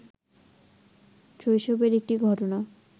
শৈশবের একটি ঘটনা